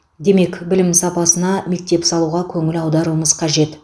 демек білім сапасына мектеп салуға көңіл аударуымыз қажет